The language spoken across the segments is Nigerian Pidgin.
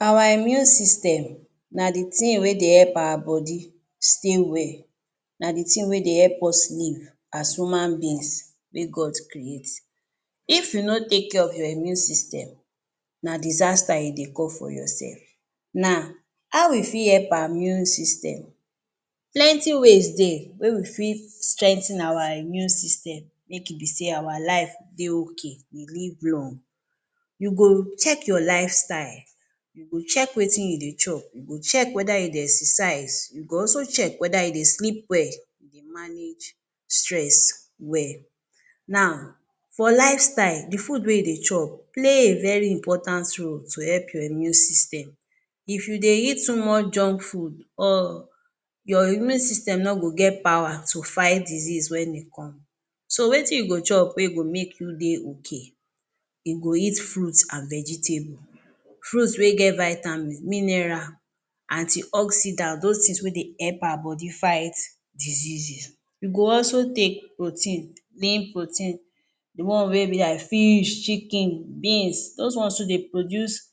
Our immune system na the thing wey dey help our body stay well, na the thing wey dey help us live as human beings wey God create. If you no take care of your immune system, na disaster you dey call for yourself. Now, how we fi help our immune system? Plenty ways de wey we fit strengthen our immune system, make e be sey our life dey okay, we live long. You go check your lifestyle, you go check wetin you dey chop, you go check whether you dey exercise, you go also check whether you dey sleep well, you dey manage stress well. Now, for lifestyle, the food wey you dey chop play a very important role to help your immune system. If you dey eat too much junk food or your immune system no go get power to fight disease when e come, so wetin you go chop wey go make you dey okay? E go eat fruits and vegetable, fruits wey get vitamins, mineral, antioxidants, those things wey dey help our body fight diseases. You go also take protein, main protein, the one wey be like fish, chicken, beans, those ones too dey produce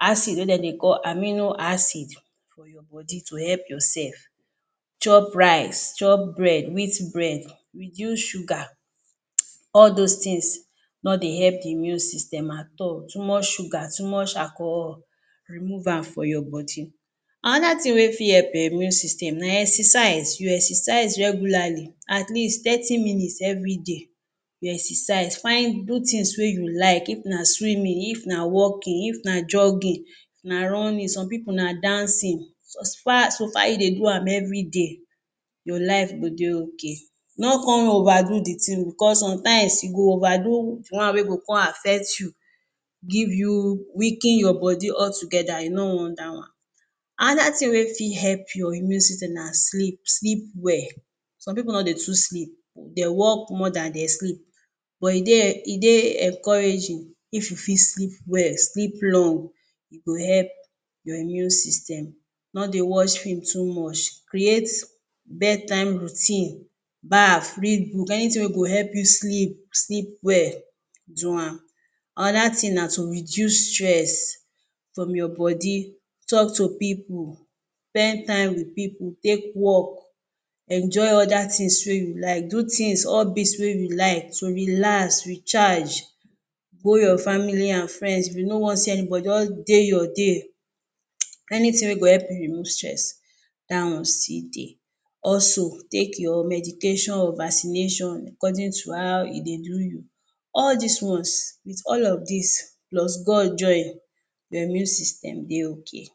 acid wey den dey call animo acid for your body to help yourself. Chop rice, chop bread, wheat bread reduce sugar, all those things no dey help immune system at all, too much sugar, too much alcohol remove am for your body. Another thing wey fi help your immune system na exercise, you exercise regularly, atleast thirty minutes everyday you exercise, find good things wey you like, if na swimming, if na walking, if na jogging, if na running, some pipu na dancing, so far you dey do am everyday your life go dey okay, no con overdo the thing because sometimes you go overdo the one wey go con affect you, give you, weaken your body altogether, you no wan that one. Another thing wey fi help your immune system na sleep, sleep well! Some pipu no dey too sleep, they work more than they sleep, but e dey, e dey encouraging if you fi sleep well, sleep long, e go help your immune system, no dey watch film too much, create bedtime routine, baf, read book, anything wey go help you sleep, sleep well do am. Another thing na to reduce stress from your body, talk to pipu, spend time with pipu, take walk, enjoy other things wey you like, do things, hobbies wey you like, to relax, recharge, go your family and friends, if you no wan see anybody, just dey your de, anything wey go help you remove stress, that one still dey. Also take your medication or vaccination according to how e dey do you. All these ones, with all of these, plus God join, your immune system dey okay.